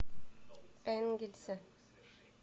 энгельсе